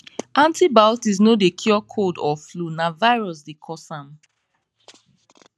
antibiotics no dey cure cold or flu na virus dey cause am